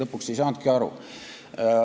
Lõpuks ei saanudki aru.